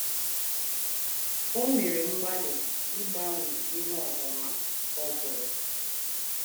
O mere mgbalị ịgbanwe ihe ọmụma ọ gụrụ.